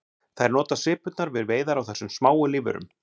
Þær nota svipurnar við veiðar á þessum smáu lífverum.